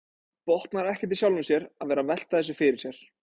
Botnar ekkert í sjálfum sér að vera að velta þessu fyrir sér.